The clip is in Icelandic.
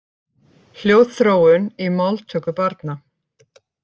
Hljóðþróun í máltöku barna.